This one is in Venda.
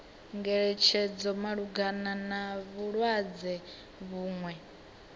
ngeletshedzo malugana na vhulwadze vhuṅwe